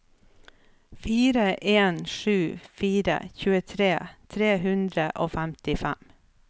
fire en sju fire tjuetre tre hundre og femtifem